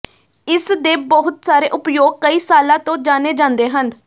ਇਸ ਦੇ ਬਹੁਤ ਸਾਰੇ ਉਪਯੋਗ ਕਈ ਸਾਲਾਂ ਤੋਂ ਜਾਣੇ ਜਾਂਦੇ ਹਨ